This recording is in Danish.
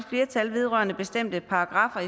flertal vedrørende bestemte paragraffer